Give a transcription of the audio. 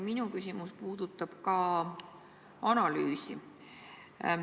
Minu küsimus puudutab ka analüüsi.